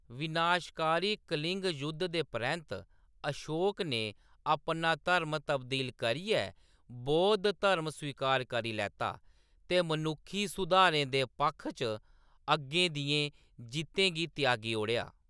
विनाशकारी कलिंग जुद्ध दे परैंत्त अशोक ने अपना धर्म तब्दील करियै बौद्ध धर्म स्वीकार करी लैता, ते मनुक्खी सुधारें दे पक्ख च अग्गें दियें जित्तें गी त्यागी ओड़ेआ।